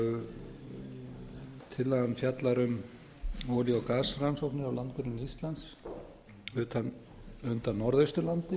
fyrsta mál tillagan fjallar um olía og gasrannsóknir á landgrunni íslands undan norðausturlandi